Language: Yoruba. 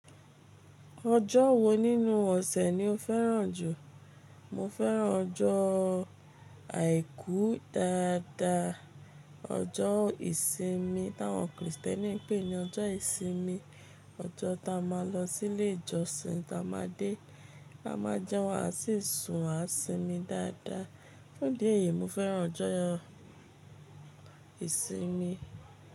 Ọjọ́ wo nínú ọ̀sẹ̀ ni o fẹ́ràn jù? Mo fẹ́ràn ọjọ́ àìkú dáadáa, ọjọ́ ìsinmi tí àwọn Krìstẹ́nì ń pè ní ọjọ́ ìsinmi. Ọjọ́ ta máa lọ sí ilé ìjọsìn, ta máa dé, la máa jẹun, a sì sun àṣìmi dáadáa. Fún ìdí èyí, mo fẹ́ràn ọjọ́ ìsinmi.